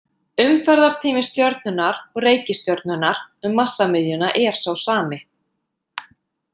Umferðartími stjörnunnar og reikistjörnunnar um massamiðjuna er sá sami.